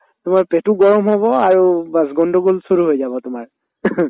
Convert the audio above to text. তোমাৰ পেটও গৰম হব আৰু bass গণ্ডগোল shuru হৈ যাব তোমাৰ